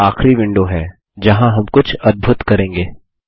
यह आखरी विंडो है जहाँ हम कुछ अद्भूत करेंगे